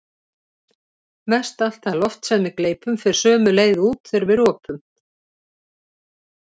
Mestallt það loft sem við gleypum fer sömu leið út þegar við ropum.